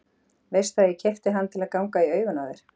Veistu að ég keypti hann til að ganga í augun í þér.